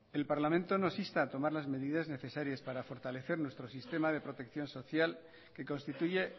el parlamento nos insta a tomar las medidas necesarias para fortalecer nuestro sistema de protección social que constituye